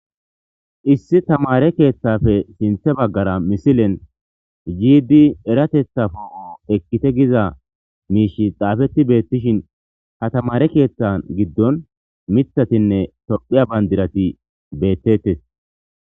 Issi tamaare keeththappe sinthe baggara misilen yiidi eratetha poo'on ekkite giza miishi xaafeti beettishin ha tamaare keeththan giddon miththatinne tophiya bandirati beettetes.